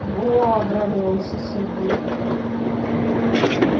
во обрадовался сергей